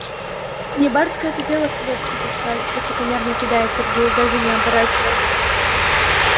не барское это дело клетки таскать высокомерно кидает сергей даже не оборачиваясь